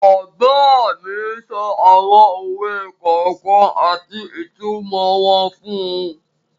Bàbá mi sọ àwọn òwe kọ̀ọ̀kan àti ìtumọ̀ wọn fún un.